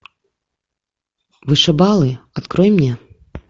вышибалы открой мне